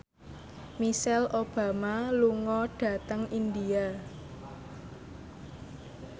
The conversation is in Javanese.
Michelle Obama lunga dhateng India